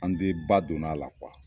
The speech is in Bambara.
An de ba donna a la